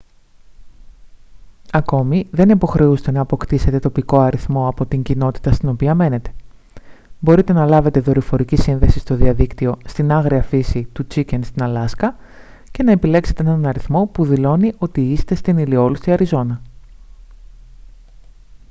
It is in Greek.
ακόμη δεν υποχρεούστε να αποκτήσετε τοπικό αριθμό από την κοινότητα στην οποία μένετε μπορείτε να λάβετε δορυφορική σύνδεση στο διαδίκτυο στην άγρια φύση του chicken στην αλάσκα και να επιλέξετε έναν αριθμό που δηλώνει ότι είστε στην ηλιόλουστη αριζόνα